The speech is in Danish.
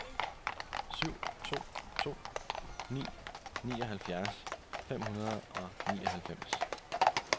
syv to to ni nioghalvfjerds fem hundrede og nioghalvfems